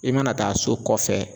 I mana taa so kɔfɛ